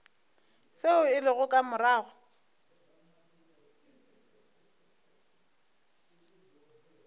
seo se lego ka morago